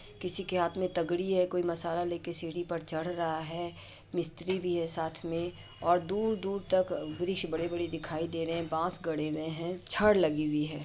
किसी के हाथ में तगड़ी है कोई मसाला लेके सीढ़ी पर चढ़ रहा है मिस्त्री भी है साथ मे और दूर दूर तक ब्रिज बड़े बड़े दिखाई दे रहे है बांस गड़े हुए है छड़ लगी हुई है।